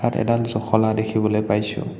ইয়াত এডাল জখলা দেখিবলৈ পাইছোঁ।